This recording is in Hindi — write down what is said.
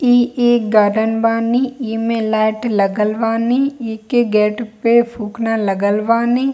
इ एक गार्डन बानी इमे लाईट लगल बानी इके गेट पे इ के गेट पे फूकना लगन बानी।